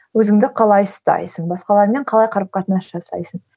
өзіңді қалай ұстайсың басқалармен қалай қарым қатынас жасайсың